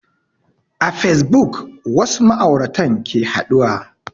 A fasebuk wasu ma'auratan ke haɗuwa